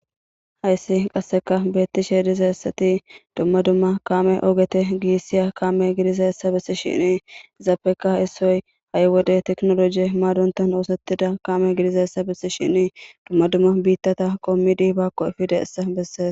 hayssi qasseka beetti sheedizayssati dumma dumma kaame ogete giissiya kaame gidizayessa bissi shini izaappeka issoy ha7y wode teknoloje maadontan hoosettida kaame gidizayessa bissi shini dumma dumma biittata qommidi bakko ifida essa bessees